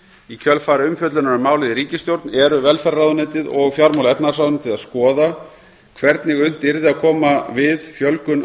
í kjölfar umfjöllunar um málið í ríkisstjórn eru velferðarráðuneytið og fjármála og efnahagsráðuneytið að skoða hvernig unnt yrði að koma við fjölgun